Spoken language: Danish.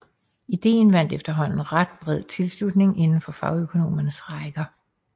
Ideen vandt efterhånden ret bred tilslutning indenfor fagøkonomernes rækker